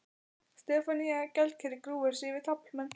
Stefanía gjaldkeri grúfir sig yfir taflmenn.